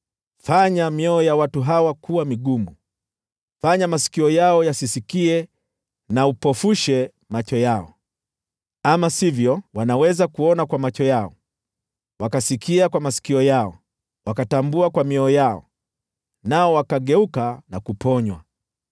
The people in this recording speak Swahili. Fanya mioyo ya watu hawa kuwa migumu, fanya masikio yao yasisikie, na upofushe macho yao. Wasije wakaona kwa macho yao, na wakasikiliza kwa masikio yao, wakaelewa kwa mioyo yao, nao wakageuka, nikawaponywa.”